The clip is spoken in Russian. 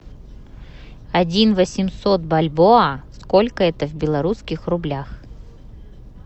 один восемьсот бальбоа сколько это в белорусских рублях